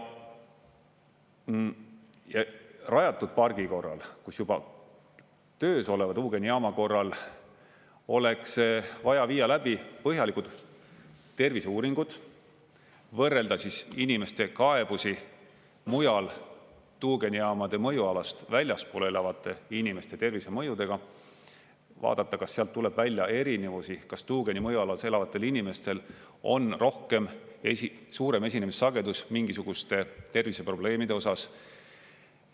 Rajatud pargi korral, kus juba töös oleva tuugenijaama korral oleks vaja viia läbi põhjalikud terviseuuringud, võrrelda siis inimeste kaebusi mujal, tuugenijaamade mõjualast väljaspool elavate inimeste tervisemõjudega, vaadata, kas sealt tuleb välja erinevusi, kas tuugeni mõjualas elavatel inimestel on rohkem, suurem esinemissagedus mingisuguste terviseprobleemide osas.